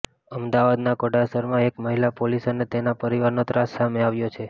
અમદાવાદના ઘોડાસરમાં એક મહિલા પોલીસ અને તેના પરિવારનો ત્રાસ સામે આવ્યો છે